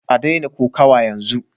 A daina kokawa yanzu